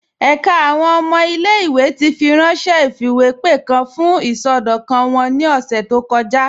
Ẹ̀ká àwọn ọmọ ilẹ̀-ìwé ti fírànṣẹ̀ ifiwepe kan fún isọdọkan wọn ni ọ̀ṣẹ̀ tó kọja.